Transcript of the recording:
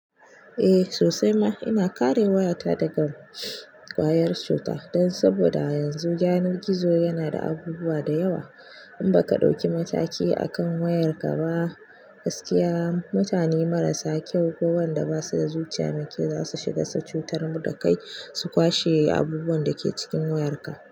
Eh sosai ma. Ina kare wayata daga ƙwayar cuta don saboda yanzu yanar gizo yana da abubuwa da yawa. In baka ɗauki mataki akan wayarka ba, gaskiya mutane marasa kyau ko wanda basu da zuciya mai kyau zasu shiga su cutar da kai su kwashe abubuwan da ke cikin wayarka.